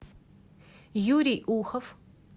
юрий ухов